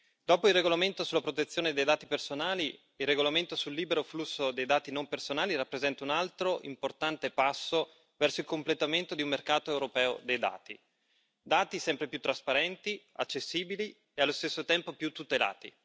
Dopo il regolamento sulla protezione dei dati personali, il regolamento sul libero flusso dei dati non personali rappresenta un altro importante passo verso il completamento di un mercato europeo dei dati, dati sempre più trasparenti, accessibili e allo stesso tempo più tutelati.